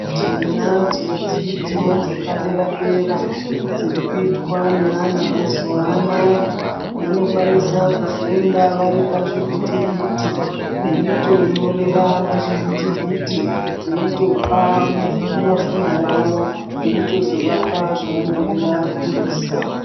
Tinadzo dzidzo dzepadera dera dzirikuitwa neana emazuvaanaya vanokwanisa kufunda varipazvivhiti vhiti veitonyorera pazvivhiti vhiti veitopa muzvinafundo wavo eitozovapa zvavanenge vabudisa .